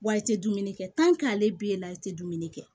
Wa i tɛ dumuni kɛ ale bɛ la i tɛ dumuni kɛ